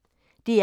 DR P1